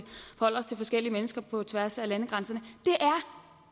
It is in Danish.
forskellige mennesker på tværs af landegrænserne